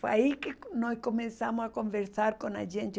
Foi aí que co nós começamos a conversar com a gente.